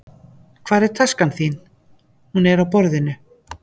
Hvar er taskan þín? Hún er á borðinu.